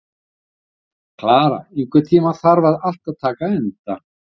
Klara, einhvern tímann þarf allt að taka enda.